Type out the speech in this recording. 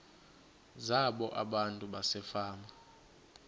zabo abantu basefama